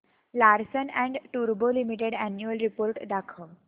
Larsen and टुर्बो limited annual report दाखव